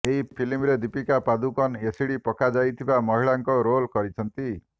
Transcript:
ଏହି ଫିଲ୍ମ ରେ ଦୀପିକା ପାଦୁକୋନ ଏସିଡ ପକାଯାଇଥିବା ମହିଳା ଙ୍କ ରୋଲ କରିଛନ୍ତି